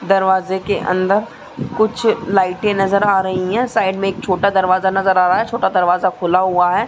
दरवाजे के अंदर कुछ लाइटे नज़र आ रही हैं। साइड में एक छोटा दरवाजा नज़र आ रहा है। छोटा दरवाजा खुला हुआ है।